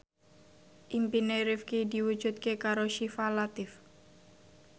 impine Rifqi diwujudke karo Syifa Latief